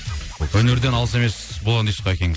өнерден алыс емес болған дейсіз ғой әкеңіз